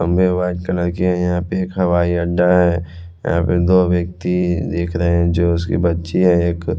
खंभे है white colour के है यहाँ पे एक हवाई अड्डा है यहाँ पे दो व्यक्ति देख रहे है जो उसकी बच्ची है एक --